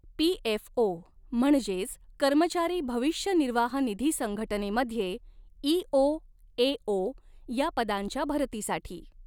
PFO म्हणजेच कर्मचारी भविष्य निर्वाह निधी संघटनेमध्ये ईओ एओ या पदांच्या भरतीसाठी